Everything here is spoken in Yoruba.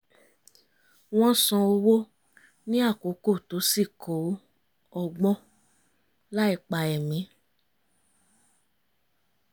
wọ́n san owó ní àkókò tó sì kó ọgbọ́n láìpa ẹ̀mí